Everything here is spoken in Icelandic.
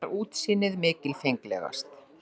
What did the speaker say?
Þar var útsýnið mikilfenglegast.